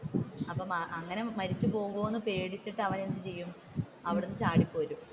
അപ്പൊ അങ്ങനെ മരിച്ചുപോകുമോ എന്ന് പേടിച്ചിട്ടു അവൻ എന്തുചെയ്യും അവിടെ നിന്ന് ചാടി പോരും.